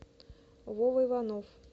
вова иванов